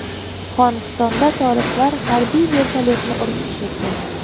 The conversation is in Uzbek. Afg‘onistonda toliblar harbiy vertolyotni urib tushirdi.